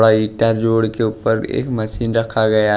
थोड़ा ईंटा जोड़ के ऊपर एक मशीन रखा गया--